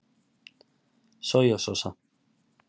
Soja sósa